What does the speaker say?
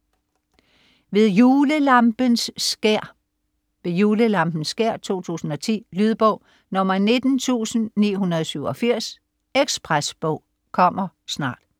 Ved julelampens skær: Ved julelampens skær 2010 2010. Lydbog 19987 Ekspresbog - kommer snart